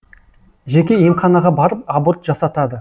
жеке емханаға барып аборт жасатады